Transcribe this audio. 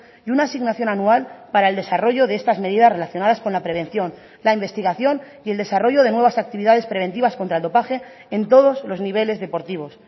y una asignación anual para el desarrollo de estas medidas relacionadas con la prevención la investigación y el desarrollo de nuevas actividades preventivas contra el dopaje en todos los niveles deportivos